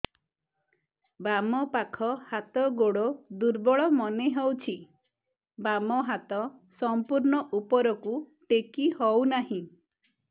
ବାମ ପାଖ ହାତ ଗୋଡ ଦୁର୍ବଳ ମନେ ହଉଛି ବାମ ହାତ ସମ୍ପୂର୍ଣ ଉପରକୁ ଟେକି ହଉ ନାହିଁ